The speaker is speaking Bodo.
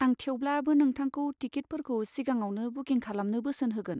आं थेवब्लाबो नोंथांखौ टिकिटफोरखौ सिगाङावनो बुकिं खालामनो बोसोन होगोन।